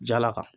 Jala ka